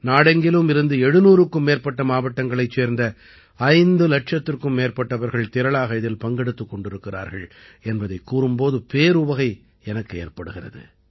நாடெங்கிலும் இருந்து 700க்கும் மேற்பட்ட மாவட்டங்களைச் சேர்ந்த ஐந்து இலட்சத்திற்கும் மேற்பட்டவர்கள் திரளாக இதில் பங்கெடுத்துக் கொண்டிருக்கிறார்கள் என்பதைக் கூறும் போது பேருவகை எனக்கு ஏற்படுகிறது